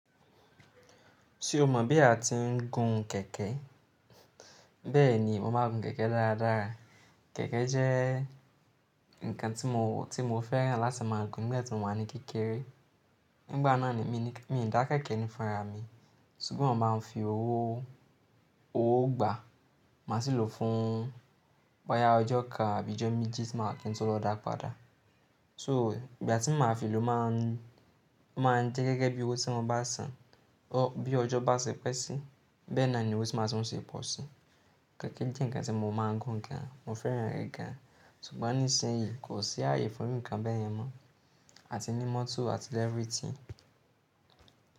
Ṣé o mọ̀ bí a ti ń gun kẹ̀kẹ́? Bẹ́ẹ̀ni, mo máa ń gun kẹ̀kẹ́ dára dára. Kẹ̀kẹ́ jẹ́ ǹkan tí mo, tí mo fẹ́ràn láti máa gun nígbà tí mo wà ní kékeré. Nígbà náà mi dà kẹ̀kẹ́ ní fun ará mi, ṣùgbọ́n máa ń fi owó gbà, màá sì lò fún boyá ọjọ́ kan àbí ọjọ́ méjì tí màá kí n tó lọ dà padà. So, ìgbà tí màá fi lò máa ń, máa ń jẹ́ gẹ́gẹ́ bí owó tí mo bá san. Bí ọjọ́ bá ṣe pẹ́ si, bẹ́ẹ̀ náà ni owó tí màá san ṣe pọ̀ si. Kẹ̀kẹ́ jẹ́ ǹkan tí mo máa ń gun gan, mo fẹ́ràn rẹ̀ gan, ṣùgbọ́n nísinsìnyí kò sí ààyè fún ǹkan bẹ́ẹ̀ yẹn mọ́. A ti ní mọ́tò àti everything.